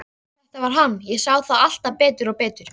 Þetta var hann, ég sá það alltaf betur og betur.